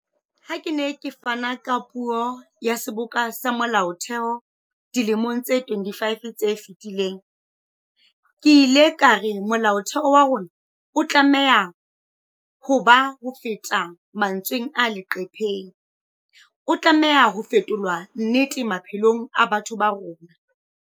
Ha ke ne ke fana ka puo ya Seboka sa Molaotheo dilemong tse 25 tse fetileng, ke ile ka re Molaotheo wa rona o tlameha ho ba hofeta mantsweng a leqhepeng, o tlameha ho fetolwa nnete maphelong a batho ba rona.